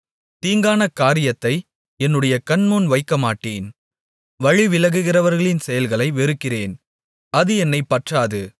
தீங்கான காரியத்தை என்னுடைய கண்முன் வைக்கமாட்டேன் வழி விலகுகிறவர்களின் செயல்களை வெறுக்கிறேன் அது என்னைப் பற்றாது